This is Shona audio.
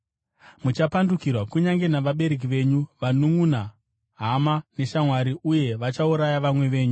Muchapandukirwa kunyange navabereki venyu, vanunʼuna, hama neshamwari, uye vachauraya vamwe venyu.